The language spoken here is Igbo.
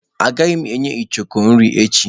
Agaghị m enye icheoku nri echi.